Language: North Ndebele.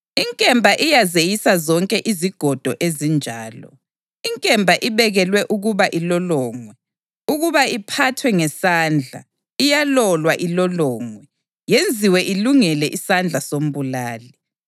Inkemba ibekelwe ukuba ilolongwe, ukuba iphathwe ngesandla; iyalolwa ilolongwe, yenziwe ilungele isandla sombulali.